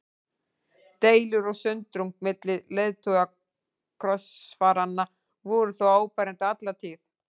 Deilur og sundrung milli leiðtoga krossfaranna voru þó áberandi alla tíð.